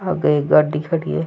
आगे एक गाड़ी खड़ी है।